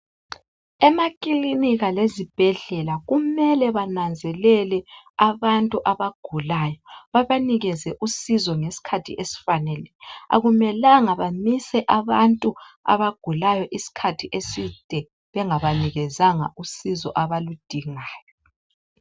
Emaklinika lezibhedlela kumela bananzelele abantu abagulayo babanikeze usizo ngesikhathi esifaneleyo. Akumelanga bamise abantu abagulayo isikhathi eside bengabanikezanga usizo abaludingayo.